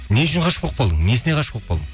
не үшін ғашық болып қалдың несіне ғашық болып қалдың